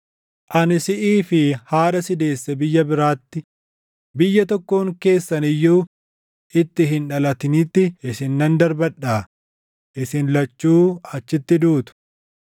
Ani siʼii fi haadha si deesse biyya biraatti, biyya tokkoon keessan iyyuu itti hin dhalatinitti isin nan darbadhaa; isin lachuu achitti duutu.